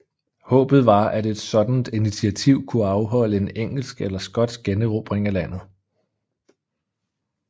Håbet var at et sådant initiativ kunne afholde en engelsk eller skotsk generobring af landet